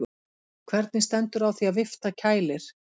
Hvernig stendur á því að vifta kælir?